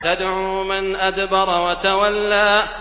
تَدْعُو مَنْ أَدْبَرَ وَتَوَلَّىٰ